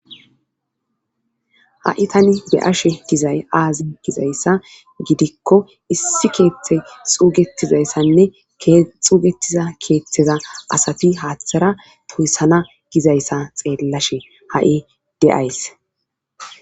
Ha7i tani be ashe gizay aazi gizayssa gidikko issi keeththe xuugetizayssanne xuugetiza keeththeza asafi haaththara toyssana gizayssa xeellashe ha7i deays.